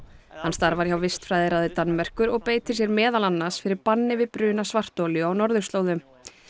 hann starfar hjá Danmerkur og beitir sér meðal annars fyrir banni við bruna svartolíu á norðurslóðum